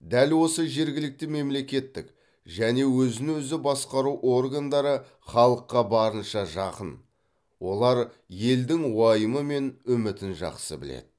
дәл осы жергілікті мемлекеттік және өзін өзі басқару органдары халыққа барынша жақын олар елдің уайымы мен үмітін жақсы біледі